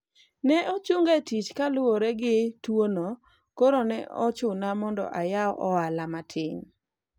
ne ochunga e tich kaluwore gi tuwono koro ne ochuno mondo ayaw ohala matin